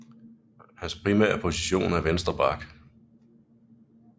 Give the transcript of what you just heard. Hans primære position er venstre back